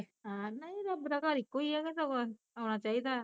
ਨਹੀਂ ਰੱਬ ਦਾ ਘਰ ਇੱਕੋ ਈ ਕਿ ਸਗੋਂ, ਆਉਣਾ ਚਾਹੀਦਾ ਐ